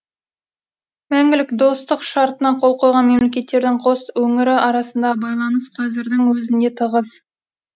мәңгілік достық шартына қол қойған мемлекеттердің қос өңірі арасындағы байланыс қазірдің өзінде тығыз